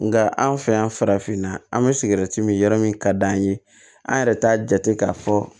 Nga an fɛ yan farafinna an mi sigɛriti mi yɔrɔ min ka d'an ye an yɛrɛ t'a jate k'a fɔ